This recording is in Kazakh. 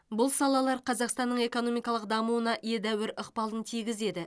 бұл салалар қазақстанның экономикалық дамуына едәуір ықпалын тигізеді